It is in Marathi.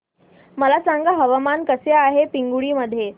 मला सांगा हवामान कसे आहे पिंगुळी मध्ये